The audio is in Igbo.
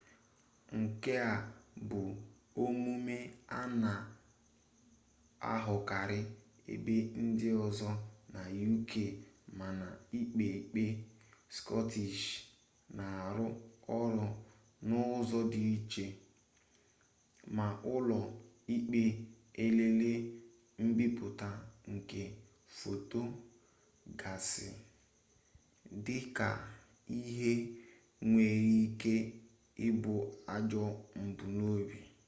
nke a bụ omume a na-ahụkarị ebe ndị ọzọ na uk mana íkpé íkpē scottish na-arụ ọrụ n'ụzọ dị iche ma ụlọ ikpe eleela mbipụta nke fotò gasị dị ka ihe nwere ike ịbụ ajọ mbunobi